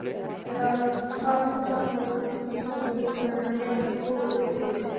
En hvað finnst honum um íslensku leikmennina í ensku úrvalsdeildinni?